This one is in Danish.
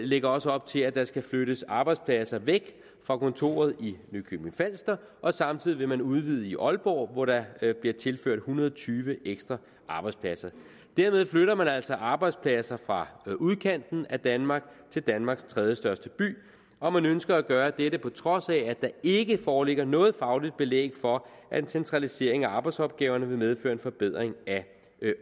lægger også op til at der skal flyttes arbejdspladser væk fra kontoret i nykøbing falster samtidig vil man udvide i aalborg hvor der bliver tilført en hundrede og tyve ekstra arbejdspladser derved flytter man altså arbejdspladser fra udkanten af danmark til danmarks tredjestørste by og man ønsker at gøre dette på trods af at der ikke foreligger noget fagligt belæg for at en centralisering af arbejdsopgaverne vil medføre en forbedring af